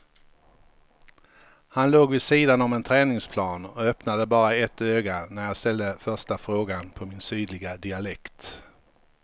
Han låg vid sidan om en träningsplan och öppnade bara ett öga när jag ställde första frågan på min sydliga dialekt.